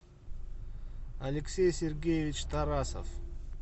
алексей сергеевич тарасов